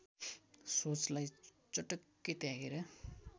सोचलाई चटक्कै त्यागेर